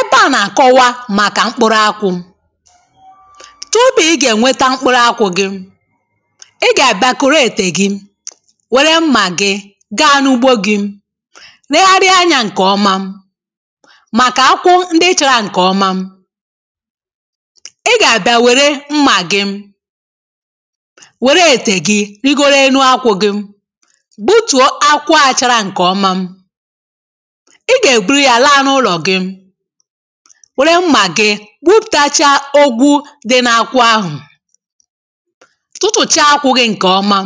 Ebe à nà-àkọwa màkà mkpụrụ akwụ̇. Tụpụ ị gà-ènweta mkpụrụ akwụ̇ gị̇, ị gà-àbịa koro ètē gi, wère mmà gị̇ gaa n’ugbo gị̇, regharịa anyȧ ǹkè ọma màkà akwụkwọ ndị chara ǹkè ọma. Ị gà-àbịa wère mmà gị, wère ètè gị rigoro enu akwụ̇ gị̇ gbutùo akwụachara ǹkè ọma. Ị gà-èburu yá láá n’ụlọ̀ gị, were mmà gị kpupùtacha ogwu dị n’akwụ ahụ̀, tụtụ̀chaa akwụ gị ǹkè ọma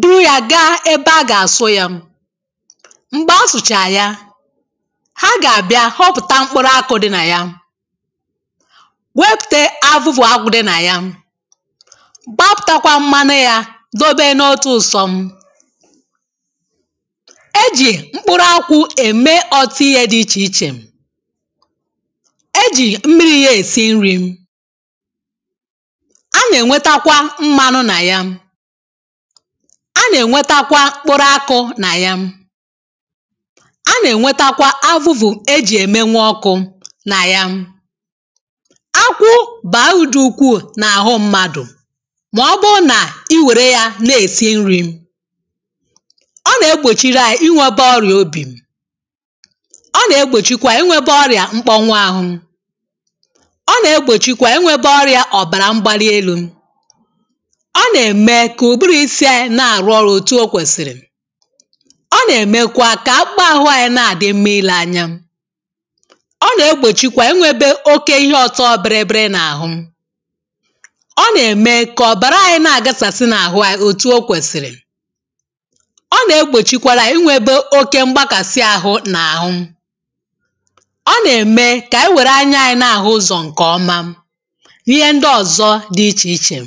buru ya gaa ebe a gà-àsụ yȧ. Mgbè a sụ̀chàrà ya ha gà-àbịa họpụ̀ta mkpụrụ akụụ dị nà ya gwepùte avu̇vụ̀ akwụ̇ dị nà ya, gbapụ̀takwa mmanị yȧ dobe n’otu ụ̇sọ̇. E jì mkpụrụ akwụ emé ọtụ ihe dị ichè ichè; e jì mmiri̇ yȧ èsi nri̇, A nà-ènwetakwa mmanụ nà ya, A nà-ènwetakwa mkpụrụ akụ nà ya, a nà-ènwetakwa avụ̇vụ̀ ejì ème nwe ọkụ̇ nà ya. Ákwụ bà udù ukwu̇ nà àhụ mmadụ̀, mà ọ bụ̀ nà i wère ya na-èsi nri̇, Ọ nà-egbòchiri àyị ịnwėba ọrịà obì, Ọ nà-egbòchikwa inwėbė ọrịà mkpọnwụ àhụ, Ọ nà-egbòchikwa inwėbė ọrịà ọ̀bàrà mgbali elu̇, Ọ nà-ème kà ùburu̇ isi̇ ayị̇ na-àrụ ọrụ̇ òtù o kwèsìrì, Ọ nà-ème kwa kà akpụahụ̇ anyị̇ na-àdị mma ilė anya, Ọ nà-egbòchikwa inwėbė oke ihe ọ̀tọ biri biri n’àhụ, Ọ nà-ème kà ọ̀bàrà ayị̇ na-àgasàsị n’àhụ ayị̇ òtù o kwèsìrì. Ọ nà-egbòchikwara ayị̇ inwėbė oke mbakàsị ahụ n’àhụ. Ọ nà-ème kà ànyị were anyȧ anyị n’àhụ ụzọ̀ ǹkè ọma. N’ihe ndị ọ̀zọ dị ichè ichè.